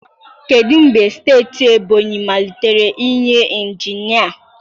Kedu mgbe steeti Ebonyị malitere inye injinia?